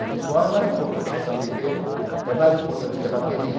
O visual é mais importante que o samba-enredo, é mais importante que a bateria,